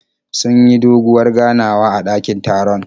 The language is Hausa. Sun yi doguwar ganawa a dakin taron.